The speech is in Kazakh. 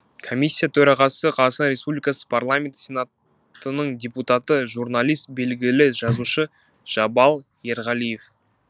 комиссия төрағасы қазақстан республикасы парламенті сенатының депутаты журналист белгілі жазушы жабал ерғалиев